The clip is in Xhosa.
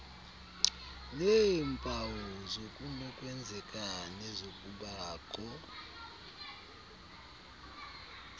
neempawu zokunokwenzeka nezokubakho